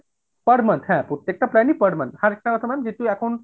per month হ্যাঁ প্রত্যেকটা plan ই per month, আরেকটা কথা ma'am সবকিছু এখন